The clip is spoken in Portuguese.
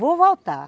Vou voltar.